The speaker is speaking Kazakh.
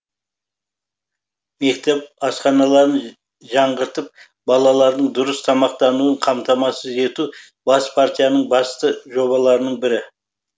мектеп асханаларын жаңғыртып балалардың дұрыс тамақтануын қамтамасыз ету бас партияның басты жобаларының бірі